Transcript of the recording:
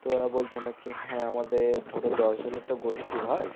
তো ওরা বলছে নাকি হ্যাঁ আমাদের ধরো দশ জনের তো গোষ্ঠী হয়